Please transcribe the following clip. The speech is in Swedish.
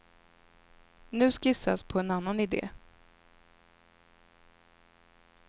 Nu skissas på en annan ide.